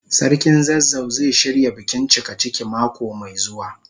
Sarkin zazzau zai shirya bikin cikaciki mako mai zuwa.